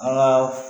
An ka